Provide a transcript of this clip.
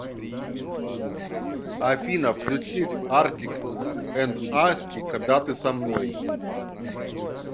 афина включи артик энд асти когда ты со мной